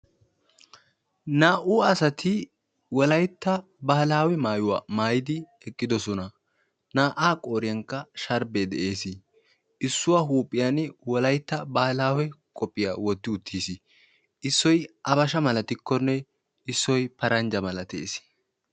Naa"u asati wolaytta baahilaawe maayuwa maayidi eqqidosona. Naa"aa qooriyankka sharbbee de'eesi. Issuwa huuphiyan wolaytta baahilaawe koppiyiya wotti uttiis. Issoy abasha malatikkonme issoy paranjja malatees.